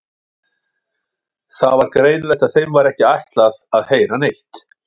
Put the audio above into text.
Það var greinilegt að þeim var ekki ætlað að heyra neitt.